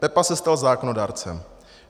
Pepa se stal zákonodárcem.